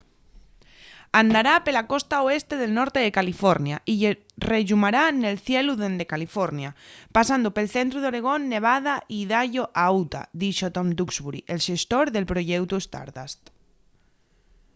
andará pela costa oeste del norte de california y rellumará nel cielu dende california pasando pel centru d'oregón nevada y idaho a utah” dixo tom duxbury el xestor del proyeutu stardust